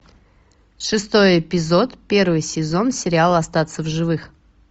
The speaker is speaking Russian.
шестой эпизод первый сезон сериала остаться в живых